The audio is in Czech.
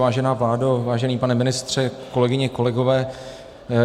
Vážená vládo, vážený pane ministře, kolegyně, kolegové.